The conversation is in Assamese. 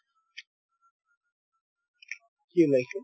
কি ওলাইছে ?